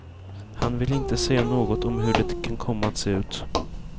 Han vill inte säga något om hur det kan komma att se ut.